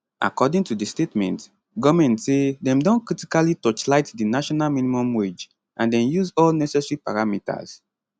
according to di statement goment say dem don critically torchlight di national minimum wage and dem use all necessary parameters